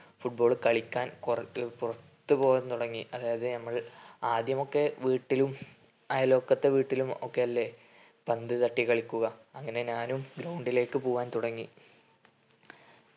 football കളിക്കാൻ കൊറ ഏർ പുറത്തു പോകാൻ തുടങ്ങി. അതായതു നമ്മൾ ആദ്യമൊക്കെ വീട്ടിലും അയൽവക്കതെ വീട്ടിലും ഒക്കെയെല്ലേ പന്ത് തട്ടി കളിക്കുക. അങ്ങനെ ഞാനും ground ലേക് പോകാൻ തുടങ്ങി